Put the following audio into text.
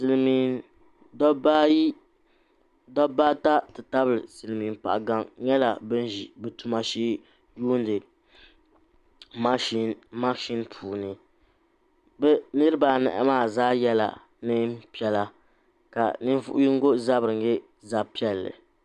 Silimiin dabba ata nti tabili silimiin paɤa gaŋa nyɛla ban ʒi bɛ tuma shee n-yuuni makshin puuni bɛ niriba anahi maa zaa yɛla neen'piɛlla ka ninvuɤiyino zabiri nyɛ zabipiɛlli